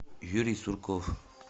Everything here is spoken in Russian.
юрий сурков